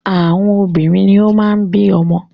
Àwọn obìnrin ni o máa ń bí ọmọ.